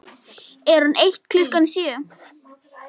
Er hún eitt klukkan sjö?